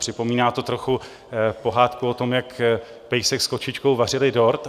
Připomíná to trochu pohádku o tom, jak pejsek s kočičkou vařili dort.